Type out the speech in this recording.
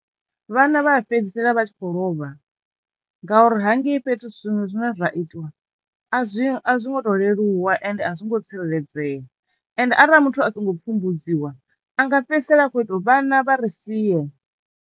Vhana vha fhedzisela vha tshi khou lovha ngauri hangei fhethu zwiṅwe zwine zwa itiwa a zwi a zwi ngo to leluwa ende a zwi ngo tsireledzea ende arali muthu a songo pfumbudziwa anga fhedzisela a kho ita uri vhana vha ri sie.